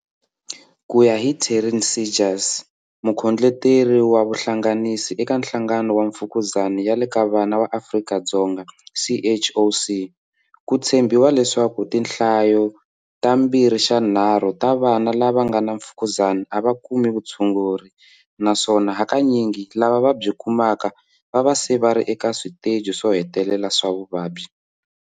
Ku ya hi Taryn Seegers, Mukhondleteri wa Vuhlanganisi eka Nhlangano wa Mfu -kuzani ya le ka Vana wa Afrika-Dzonga, CHOC, ku tshembiwa leswaku tinhlayo ta mbirhixanharhu ta vana lava nga na mfukuzani a va kumi vutshunguri na swona hakanyingi lava va byi kumaka va va se vari eka switeji swo hetelela swa vuvabyi.